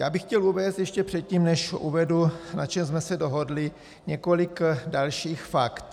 Já bych chtěl uvést ještě předtím, než uvedu, na čem jsme se dohodli, několik dalších fakt.